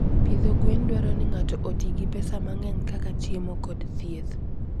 Pidho gwen dwaro ni ng'ato oti gi pesa mang'eny, kaka chiemo kod thieth.